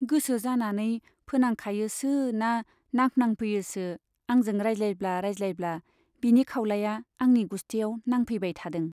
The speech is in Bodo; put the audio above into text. गोसो जानानै फोनांखायोसो ना नांफ्नांफैयोसो आंजों रायज्लायब्ला रायज्लायब्ला बिनि खाउलाया आंनि गुस्टियाव नांफैबाय थादों।